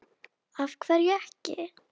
Af hverju ekki?